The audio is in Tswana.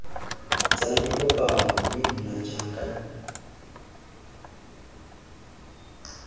tsena dikopano mme nna jaaka